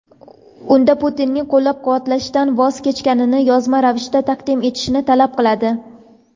unda Putinni qo‘llab-quvvatlashdan voz kechganini yozma ravishda taqdim etishini talab qiladi.